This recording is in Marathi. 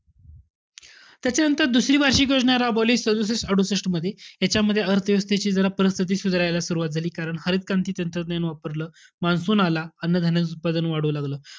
त्याच्यानंतर दुसरी वार्षिक योजना राबवली सदुसष्ट अडुसष्टमध्ये. ह्याच्यामध्ये अर्थ व्यवस्थेची जरा परिस्थिती सुधारायला सुरवात झाली. कारण हरित क्रांती तंत्रज्ञान वापरलं, monsoon आला, अन्न-धान्याचं उत्पादन वाढू लागलं.